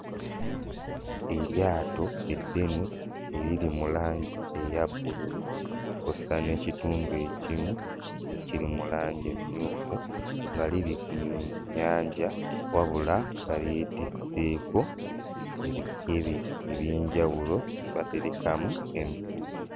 Eryato eddene eriri mu langi eya bbululu kw'ossa n'ekitundu ekimu ekiri mu langi emmyufu nga liri mu nnyanja, wabula nga lyetisseeko ebikebe eby'enjawulo bye baterekamu emigugu.